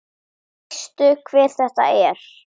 Veistu hver þetta er?